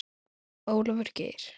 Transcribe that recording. Ólafur Geir.